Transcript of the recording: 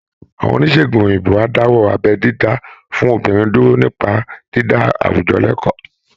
Àwọn oníṣègùn òyìnbó á dáwọ́ abẹ́ dídá fún obìnrin dúró nípa dídá àwùjọ lẹ́kọ̀ọ́